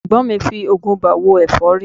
Ẹ̀gbọ́n mi ń fi oògùn ibà wo ẹ̀fọ́rí